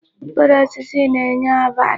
Mkpụrụ osisi na-enye ọbara.